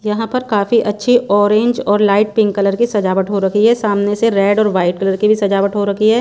यहां पर काफी अच्छी ऑरेंज और लाइट पिंक कलर की सजावट हो रखी है सामने से रेड और वाइट कलर की भी सजावट हो रखी है।